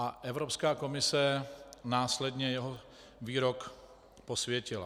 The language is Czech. A Evropská komise následně jeho výrok posvětila.